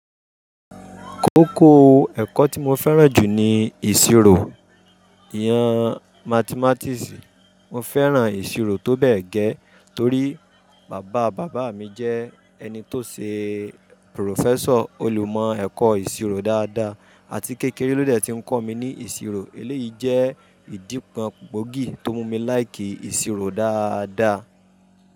Kókó ẹ̀kọ́ tí mo fẹ́ràn jù ni ìṣirò, ìhàn mathematisì. Mo fẹ́ràn ìṣirò tó bẹ́ẹ̀ gẹ́ torí bàba bàbá mi jẹ́ ẹni tó ṣe professọ̀, olùmọ̀ ẹ̀kọ́ ìṣirò dáadáa àti kékeré lóde ti ń kọ́ mi ní ìṣirò. Eléyìí jẹ́ ìdípọ̀n gbòógì tó mú mi láì kí ìṣirò dáadáa.